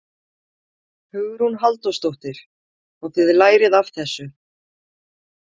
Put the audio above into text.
Hugrún Halldórsdóttir: Og þið lærið af þessu?